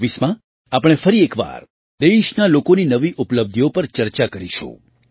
2024માં આપણે ફરી એક વાર દેશના લોકોની નવી ઉપલબ્ધિઓ પર ચર્ચા કરીશું